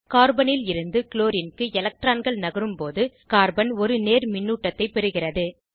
கார்பனில் இருந்துக்ளோரின் க்கு எலக்ட்ரான்கள் நகரும்போது கார்பன் ஒரு நேர்மின்னூட்டத்தைப் பெறுகிறது